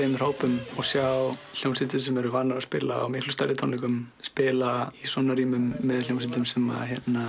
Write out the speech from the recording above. hópum og sjá hljómsveitir sem eru vanar að spila á miklu stærri tónleikum spila í svona rýmum með hljómsveitum sem